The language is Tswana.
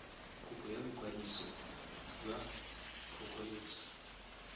kopo ya boikwadiso jwa phokoletso